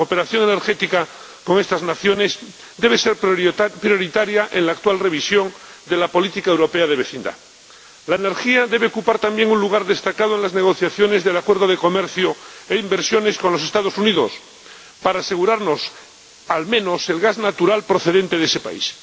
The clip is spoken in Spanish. La cooperación energética con estas naciones debe ser prioritaria en la actual revisión de la política europea de vecindad. La energía debe ocupar también un lugar destacado en las negociaciones de la Asociación Transatlántica de Comercio e Inversión con los Estados Unidos, para asegurarnos, al menos, el gas natural procedente de ese país.